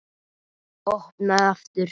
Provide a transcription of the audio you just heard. Opnaði aftur.